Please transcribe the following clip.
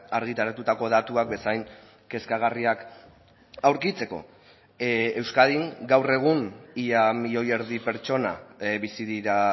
argitaratutako datuak bezain kezkagarriak aurkitzeko euskadin gaur egun ia milioi erdi pertsona bizi dira